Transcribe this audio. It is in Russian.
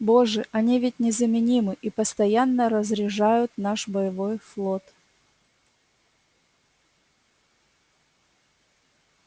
боже они ведь незаменимы и постоянно разряжают наш боевой флот